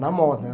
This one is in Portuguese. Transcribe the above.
Na moda.